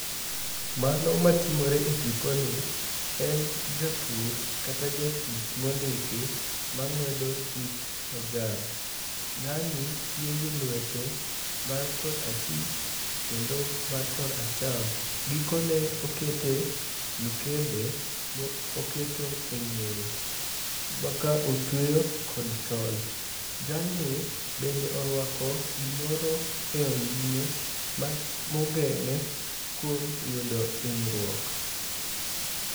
Mano matimore e tiponi, en japur kata jatich mondiki mang'wedo it majan. Ng'ani tiyo gi lwete mar kor achich kendo mar kor acham. Gikone okete mikebe moketo e ng'eye ma ka otweyo kod tol. Jalni bende orwako gimoro e onding'e mogeng'e kuom yudo hinyruok.